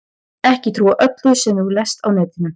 Ekki trúa öllu sem þú lest á netinu.